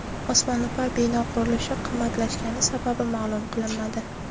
Osmono‘par bino qurilishi qimmatlashgani sababi ma’lum qilinmadi.